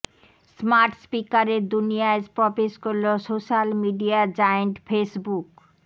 smart স্পিকারের দুনিয়ায় প্রবেশ করল সোশ্যাল মিডিয়া জায়েন্ট ফেসবুক